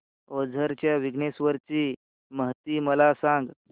ओझर च्या विघ्नेश्वर ची महती मला सांग